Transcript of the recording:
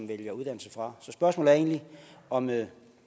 vælger uddannelse fra så spørgsmålet er egentlig om man